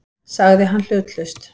sagði hann hlutlaust.